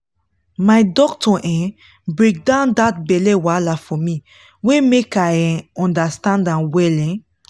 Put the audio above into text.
my doctor um break down that belle wahala for me way make i um understand well um